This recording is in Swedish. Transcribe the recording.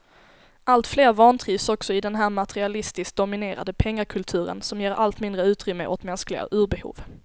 Alltfler vantrivs också i den här materialistiskt dominerade pengakulturen, som ger allt mindre utrymme åt mänskliga urbehov.